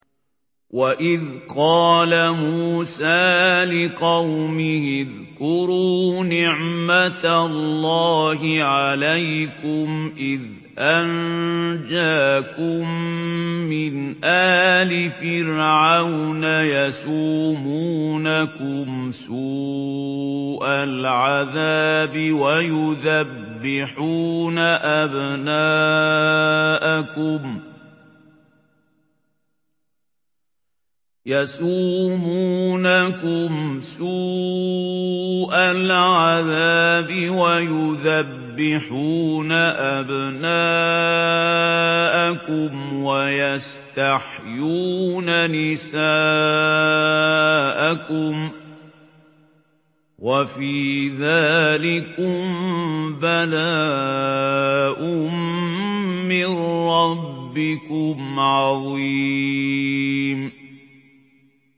وَإِذْ قَالَ مُوسَىٰ لِقَوْمِهِ اذْكُرُوا نِعْمَةَ اللَّهِ عَلَيْكُمْ إِذْ أَنجَاكُم مِّنْ آلِ فِرْعَوْنَ يَسُومُونَكُمْ سُوءَ الْعَذَابِ وَيُذَبِّحُونَ أَبْنَاءَكُمْ وَيَسْتَحْيُونَ نِسَاءَكُمْ ۚ وَفِي ذَٰلِكُم بَلَاءٌ مِّن رَّبِّكُمْ عَظِيمٌ